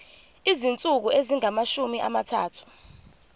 izinsuku ezingamashumi amathathu